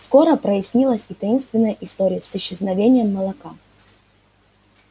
скоро прояснилась и таинственная история с исчезновением молока